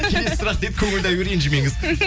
келесі сұрақ дейді көңілді аю ренжімеңіз